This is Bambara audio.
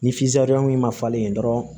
Ni ma falen dɔrɔn